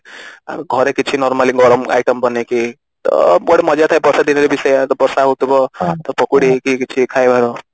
ଆଉ ଘରେ କିଛି normally ଗରମ item ବନେଇକି ତ ଗୋଟେ ମଜା ଥାଏ ବର୍ଷା ଦିନେ ବି ସେୟା ବର୍ଷା ହଉଥିବ ତ ପକୁଡି କି କିଛି ଖାଇବାର